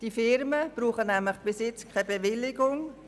Die Firmen benötigen bis jetzt keine Bewilligung.